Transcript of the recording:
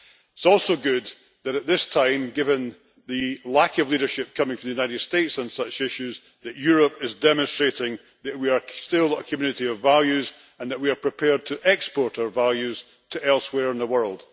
It is also good that at this time, given the lack of leadership coming from the United States on such issues, Europe is demonstrating that we are still a community of values and that we are prepared to export our values to elsewhere in the world.